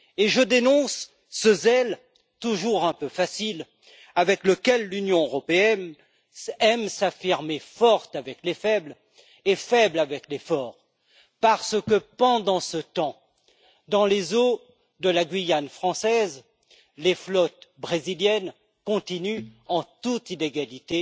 Je dénonce ce zèle, toujours un peu facile, avec lequel l'Union européenne aime s'affirmer forte avec les faibles et faible avec les forts, parce que, pendant ce temps, dans les eaux de la Guyane française, les flottes brésiliennes continue de pêcher en toute illégalité.